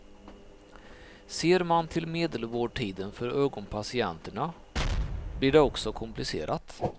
Ser man till medelvårdtiden för ögonpatienterna blir det också komplicerat.